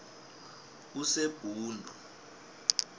usebhundu